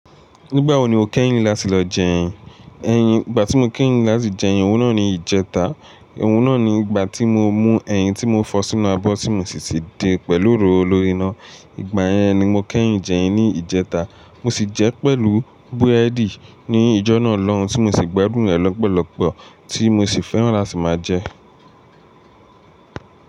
Nígbà wo ni o kẹ́yìn láti lọ jẹ ẹyin? Ẹ̀yin, ìgbà tí mo kẹ́yìn láti jẹ ẹyin, òun náà ni ìjẹta. Òun náà ni ìgbà tí mo mú ẹyin tí mo fọ sínú abọ́ tí mo sì ti din pẹ̀lú òróró lórí iná. Ìgbà yẹn ni mo kẹ́yìn jẹ ẹyin ní ìjẹta. Mo sì jẹ pẹ̀lú búrẹ́dì ní ìjọ́ná lọ́hun tí mo sì gbádùn rẹ̀ lọ́pọ̀lọpọ̀ tí mo sì fẹ́ran láti máa jẹ ẹ.